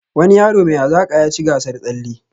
Wani yaro mai hazaka yaci gasar tsalle